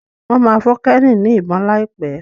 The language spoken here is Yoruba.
Wón má fún Kenny ní ìbọn laipe.